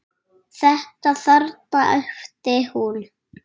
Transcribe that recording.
Þetta þarna, æpti hún.